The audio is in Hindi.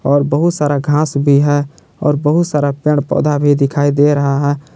और बहुत सारा घास भी है और बहुत सारा पेड़ पौधा भी दिखाई दे रहा है।